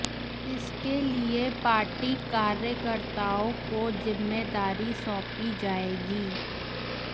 इसके लिए पार्टी कार्यकर्ताओं को जिम्मेदारी सौंपी जाएगी